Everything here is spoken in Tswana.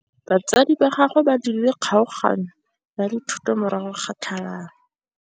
Batsadi ba gagwe ba dirile kgaoganyô ya dithoto morago ga tlhalanô.